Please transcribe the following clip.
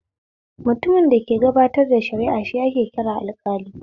Mutumin da ke gabatar da shara'a shi ake kira alƙali